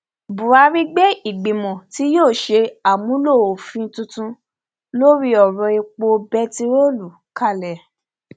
buhari gbé ìgbìmọ tí yóò ṣe àmúlò òfin tuntun lórí ọrọèpo bẹntiróòlù kalẹ